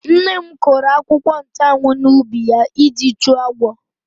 Nne m kụrụ akwụkwọ nchụ́anwu n'ubi ya iji chụọ agwọ.